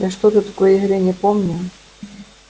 я что-то такой игры не помню